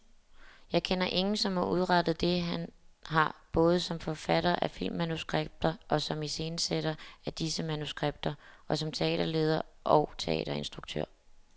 Jeg kender ingen som har udrettet, det han har, både som forfatter af filmmanuskripter og som iscenesætter af disse manuskripter, og som teaterleder og teaterinstruktør.